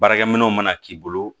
Baarakɛminɛnw mana k'i bolo